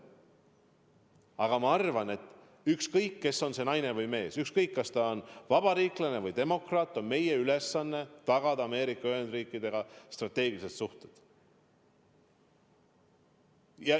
Aga ma arvan, et ükskõik, kes on see naine või mees, ükskõik, kas ta on vabariiklane või demokraat – meie ülesanne on tagada Ameerika Ühendriikidega strateegilised suhted.